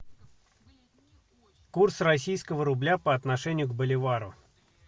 курс российского рубля по отношению к боливару